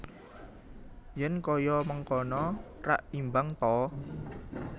Yen kaya mangkono rak imbang ta